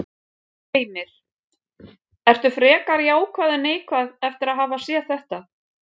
Heimir: Ertu frekar jákvæð en neikvæð eftir að hafa séð þetta?